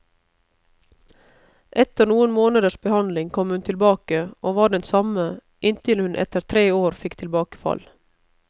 Etter noen måneders behandling kom hun tilbake, og var den samme, inntil hun etter tre år fikk tilbakefall.